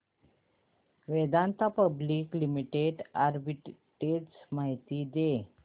Vedanta public limited arbitrage माहिती दे